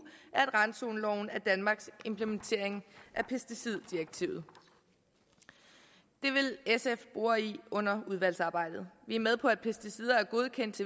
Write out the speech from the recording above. at randzoneloven er danmarks implementering af pesticiddirektivet det vil sf bore i under udvalgsarbejdet vi er med på at pesticider er godkendt